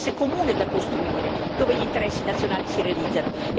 c'è un interesse comune da costruire, dove gli interessi nazionali si realizzano.